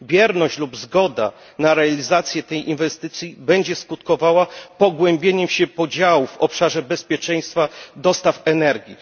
Bierność lub zgoda na realizację tej inwestycji będzie skutkowała pogłębieniem się podziałów w obszarze bezpieczeństwa dostaw energii.